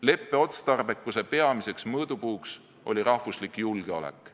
Leppe otstarbekuse peamiseks mõõdupuuks oli rahvuslik julgeolek.